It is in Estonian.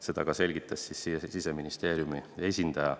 Seda selgitas ka Siseministeeriumi esindaja.